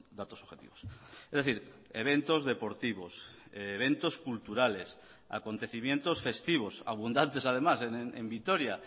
datos objetivos es decir eventos deportivos eventos culturales acontecimientos festivos abundantes además en vitoria